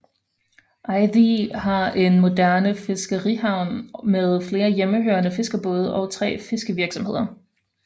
Eiði har en moderne fiskerihavn med flere hjemmehørende fiskerbåde og tre fiskevirksomheder